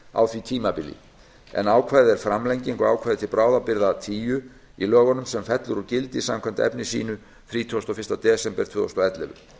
á því tímabili ákvæðið er framlenging á ákvæði til bráðabirgða tíu í lögunum sem fellur úr gildi samkvæmt efni sínu þrítugasta og fyrsta desember tvö þúsund og ellefu